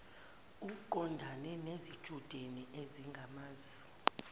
uqondana nezitshudeni ezingamazi